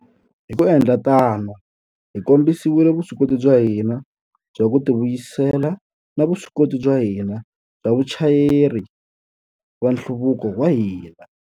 Hi ku endla tano, hi kombisile vuswikoti bya hina bya ku tivuyisela na vuswikoti bya hina byo va vachayeri va nhluvuko wa hina.